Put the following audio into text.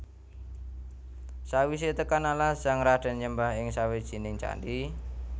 Sakwisé tekan alas sang radén nyembah ing sawijining candhi